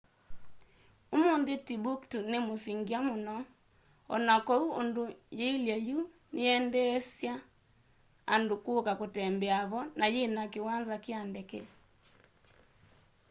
umũnthĩ timbuktu nĩ mũsyĩ ngya mũno ona koũ ũndũ yĩĩlye yũ nĩyendeeasya andũ kũka kũtembea vo na yĩna kĩwanza kya ndeke